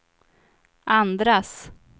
andras